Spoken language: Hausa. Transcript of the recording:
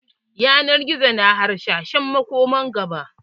Yanar gizo yana hasashen makomar gaba.